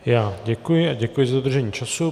Já děkuji a děkuji za dodržení času.